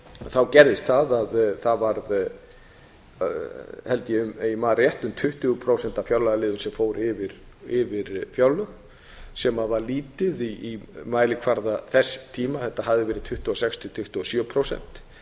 þá gerðist það að það varð held ég ef ég man rétt um tuttugu prósent af fjárlagaliðum sem fór yfir fjárlög sem var lítið í mælikvarða þess tíma þetta hafði verið tuttugu og sex til tuttugu og sjö prósent